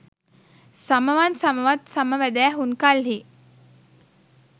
සමවන් සමවත් සම වැදැ හුන් කල්හි